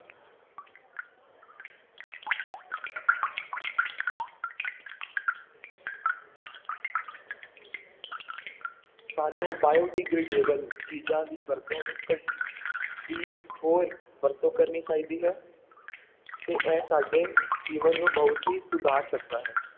ਸਾਨੂੰ biodegradable ਚੀਜ਼ਾਂ ਦੀ ਵਰਤੋਂ ਨੂੰ ਘ~ ਦੀ ਹੋਰ ਵਰਤੋਂ ਕਰਨੀ ਚਾਹੀਦੀ ਹੈ ਤੇ ਇਹ ਸਾਡੇ ਜੀਵਨ ਨੂੰ ਬਹੁਤ ਹੀ ਸੁਧਾਰ ਸਕਦਾ ਹੈ।